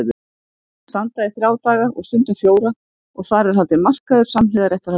Þær standa í þrjá daga og stundum fjóra og þar er haldinn markaður samhliða réttarhaldinu.